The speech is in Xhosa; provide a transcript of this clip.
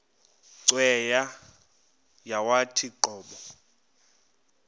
cweya yawathi qobo